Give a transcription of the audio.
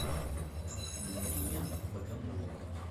нурия богомолова